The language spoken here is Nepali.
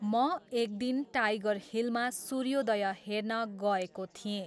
म एक दिन टाइगर हिलमा सूर्योदय हेर्न गएको थिएँ।